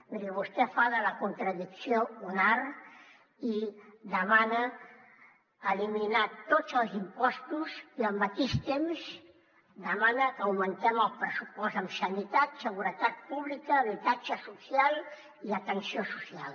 miri vostè fa de la contradicció un art i demana eliminar tots els impostos i al mateix temps demana que augmentem el pressupost en sanitat seguretat pública habitatge social i atenció social